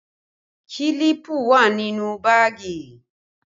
Kílípù wà nínú báàgì